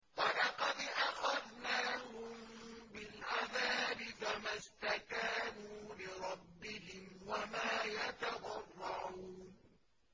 وَلَقَدْ أَخَذْنَاهُم بِالْعَذَابِ فَمَا اسْتَكَانُوا لِرَبِّهِمْ وَمَا يَتَضَرَّعُونَ